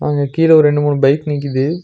அங்க கீழ ஒரு ரெண்டு மூணு பைக் நிக்கிது.